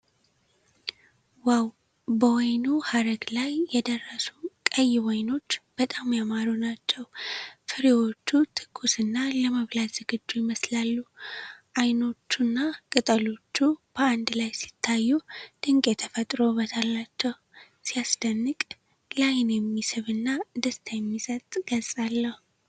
ዋው! በወይኑ ሐረግ ላይ የደረሱ ቀይ ወይኖች በጣም ያማሩ ናቸው። ፍሬዎቹ ትኩስና ለመብላት ዝግጁ ይመስላሉ። ወይኖቹና ቅጠሎቹ በአንድ ላይ ሲታዩ ድንቅ የተፈጥሮ ውበት ናቸው። ሲያስደንቅ! ለዓይን የሚስብና ደስታ የሚሰጥ ገጽታ ነው!